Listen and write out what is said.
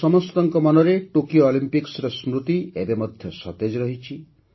ଆମ ସମସ୍ତଙ୍କ ମନରେ ଟୋକିଓ ଅଲିମ୍ପିକ୍ସର ସ୍ମୃତି ଏବେ ମଧ୍ୟ ସତେଜ ରହିଛି